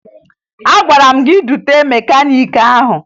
Agwara m gị dute mekaniiki ahụ!